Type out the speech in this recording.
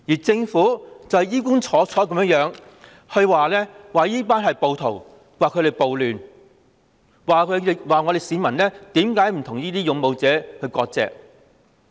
政府只會衣冠楚楚地譴責他們是暴徒，造成暴亂，又問市民為何不與勇武示威者割席。